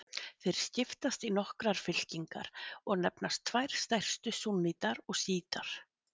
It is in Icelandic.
Þeir skiptast í nokkrar fylkingar og nefnast tvær stærstu súnnítar og sjítar.